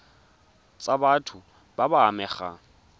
tsa batho ba ba amegang